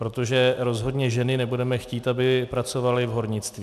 Protože rozhodně ženy nebudeme chtít, aby pracovaly v hornictví.